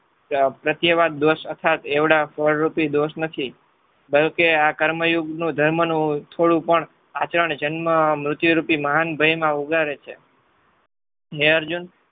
પ્રત્યવાદ દોષ યથાર્થ એવડા ફળરૂપી દોષ નથી. ધારોકે આ કર્મયોગનો ધર્મનું થોડું પણ આચરણ જન્મ મૃત્યુ રૂપી મહાન ભયમાં ઉગારે છે. હે અર્જુન